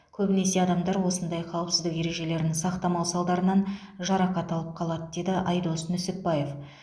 көбінесе адамдар осындай қауіпсіздік ережелерін сақтамау салдарынан жарақат алып қалады деді айдос нүсіпбаев